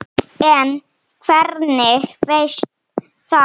En hvernig veistu það?